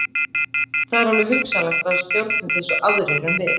Það er alveg hugsanlegt að það stjórni þessu aðrir en við.